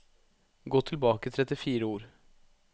Gå tilbake trettifire ord